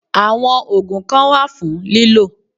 Àwọn ògùn kan wà fún lílò